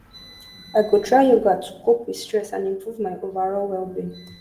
i go try yoga to cope with stress and improve my overall wellbeing